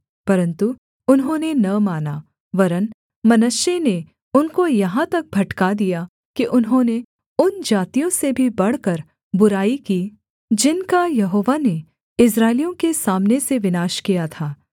परन्तु उन्होंने न माना वरन् मनश्शे ने उनको यहाँ तक भटका दिया कि उन्होंने उन जातियों से भी बढ़कर बुराई की जिनका यहोवा ने इस्राएलियों के सामने से विनाश किया था